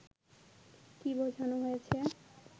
কি বোঝানো হয়েছে